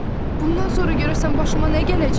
Bundan sonra görəsən başıma nə gələcək?